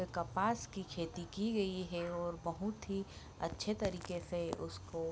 कपास की खेती की गई है और बहुत ही अच्छे तरीके से उसको --